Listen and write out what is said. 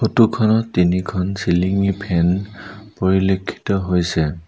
Photo খনত তিনিখন চিলিংঙি ফেন পৰিলক্ষিত হৈছে।